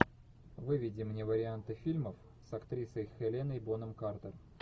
выведи мне варианты фильмов с актрисой хеленой бонем картер